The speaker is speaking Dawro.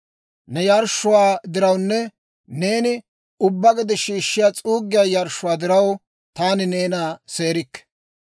Ne yarshshuwaa dirawunne neeni ubbaa gede shiishshiyaa s'uuggiyaa yarshshuwaa diraw, Taani neena seerikke.